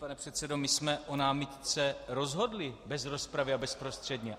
Pane předsedo, my jsme o námitce rozhodli bez rozpravy a bezprostředně.